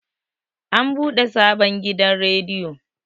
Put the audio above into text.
an bude sabon gidan rediyo